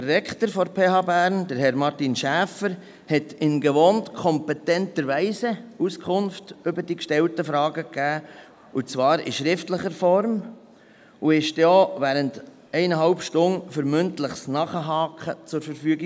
Der Rektor der PH Bern, Herr Martin Schäfer, hat in gewohnt kompetenter Weise in schriftlicher Form Auskunft zu den gestellten Fragen gegeben und stand dann während anderthalb Stunden für mündliches Nachhaken zur Verfügung.